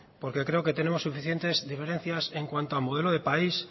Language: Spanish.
porque creo que tenemos suficientes diferencias en cuanto a modelo de país